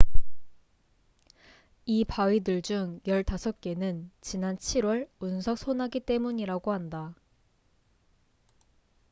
이 바위들 중 15개는 지난 7월 운석 소나기 때문이라고 한다